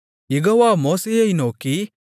யெகோவா மோசேயை நோக்கி